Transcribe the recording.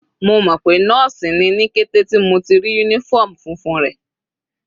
Mo mọ̀ pé nọ́ọ̀sì ni ní kété tí mo ti rí uniform funfun rẹ̀.